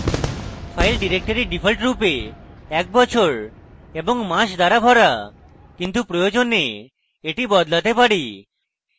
file directory ডিফল্টরূপে একটি বছর এবং মাস দ্বারা ভরা কিন্তু প্রয়োজনে the বদলাতে পারি